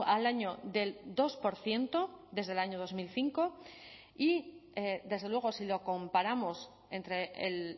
al año del dos por ciento desde el año dos mil cinco y desde luego si lo comparamos entre el